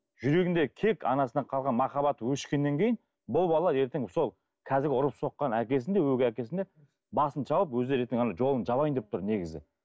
жүрегінде кек анасынан қалған махаббат өшкеннен кейін бұл бала ертең сол қазіргі ұрып соққан әкесін де өгей әкесін де басын шауып өздері ертең ана жолын жабайын деп тұр негізі